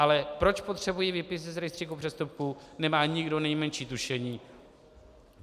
Ale proč potřebují výpis z rejstříku přestupků, nemá nikdo nejmenší tušení.